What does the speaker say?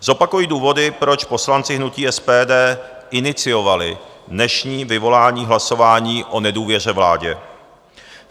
Zopakuji důvody, proč poslanci hnutí SPD iniciovali dnešní vyvolání hlasování o nedůvěře vládě.